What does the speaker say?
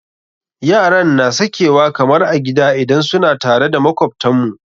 Yaran na sakewa kamar a gida idan suna tare da makwabtan mu.